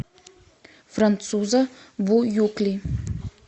француза буюкли